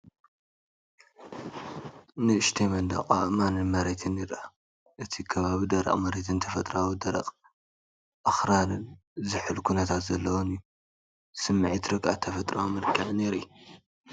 ንእሽተይ መንደቕ ኣእማንን መሬትን ይርአ። እቲ ከባቢ ደረቕ መሬትን ተፈጥሮኣዊ ደረቕ ኣኽራንን ዝሑል ኩነታት ዘለዎን እዩ። ስምዒት ርግኣትን ተፈጥሮኣዊ መንልክዕን የርኢ።